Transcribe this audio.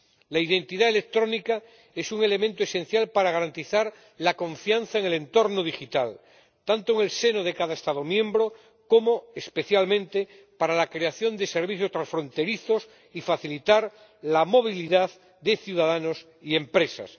La identidad electrónica es un elemento esencial para garantizar la confianza en el entorno digital, tanto en el seno de cada Estado miembro como especialmente para la creación de servicios transfronterizos, y facilitar la movilidad de ciudadanos y empresas.